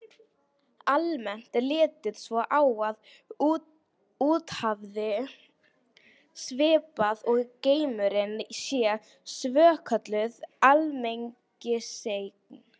Almennt er litið svo á að úthafið, svipað og geimurinn, sé svokölluð almenningseign.